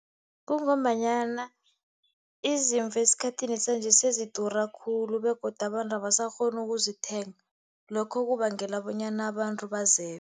Kungombanyana izimvu esikhathini sanje sezidura khulu, begodu abantu abasakghoni ukuzithenga. Lokho kubangela bonyana abantu bazebe.